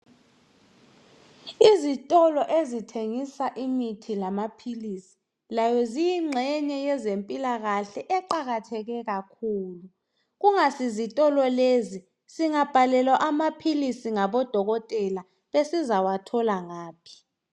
Izitolo ezithengisa imithi lamaphilisi, layo ziyingxenye yezempilakahle eqakatheke kakhulu. Kungasizitolo lezi, singabhalelwa amaphilisi ngabodokotela besizawathola ngaphi?